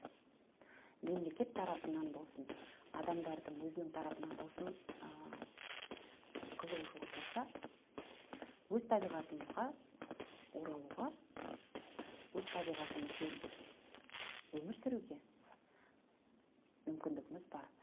мемлекет тарапынан болсын адамдардың өзінің тарапынан болсын ы қызығушылық болса өз табиғатымызға оралуға өз табиғатымызбен өмір сүруге мүмкіндігіміз бар